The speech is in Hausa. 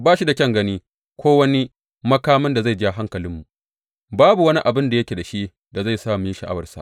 Ba shi da kyan gani ko wani makamin da zai ja hankalinmu, babu wani abin da yake da shi da zai sa mu yi sha’awarsa.